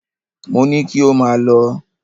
Mo ní kí ò máa lọ!